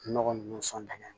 Nɔgɔ ninnu sɔn